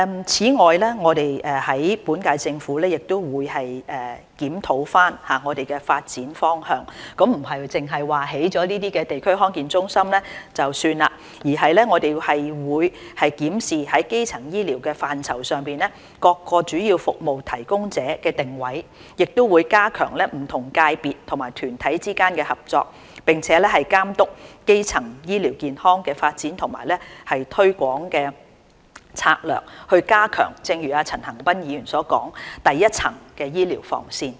此外，現屆政府亦會檢討發展方向，不是說興建了地區康健中心便算了，而是會檢視在基層醫療範疇上各主要服務提供者的定位，加強不同界別及團體之間的合作，並監督基層醫療健康的發展和推廣策略，正如陳恒鑌議員所說，加強第一層醫療防線。